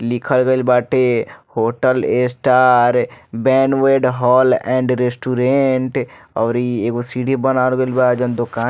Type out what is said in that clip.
लिखल गईल बाटे hotel A star banquet hall and restaurant और इ एगो सीढ़ी बनायल गईल बा जोन दोकान --